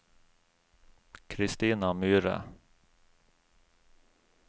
Christina Myhre